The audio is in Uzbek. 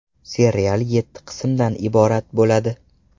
Serial yetti qismdan iborat bo‘ladi.